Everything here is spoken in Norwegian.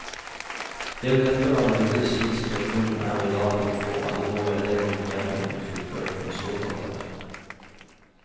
Det vil neppe være mulig, slik situasjonen er i dag, å få alle våre elever igjennom et fullt løp med ståkarakterer.